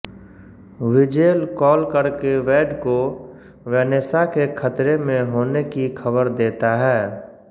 Wiesel call करके Wade को Vanessa के खतरे में होने की खबर देता है